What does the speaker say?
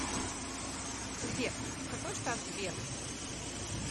сбер какой штат сбера